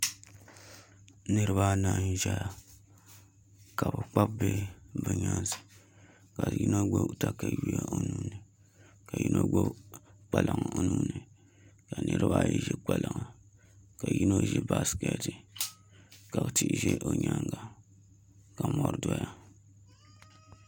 Niraba anahi n chɛna ka bi kpabi bihi bi nyaansi ka yino gbubi katawiya o nuuni ka yino gbubi kpalaŋ o nuuni ka niraba ayi ʒi kpalaŋa ka yino ʒi baskɛti ka tia ʒɛ o nyaanga ka mori doya